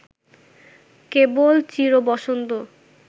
কেবল চিরবসন্ত